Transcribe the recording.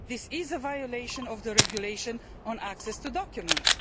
This is a violation of the Regulation on Access to Documents.